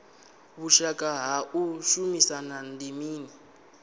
vhushaka ha u shumisana ndi mini